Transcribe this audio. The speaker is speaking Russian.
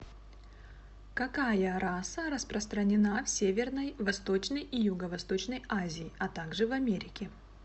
какая раса распространена в северной восточной и юго восточной азии а также в америке